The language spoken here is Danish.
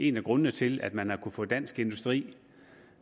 en af grundene til at man har kunnet få dansk industri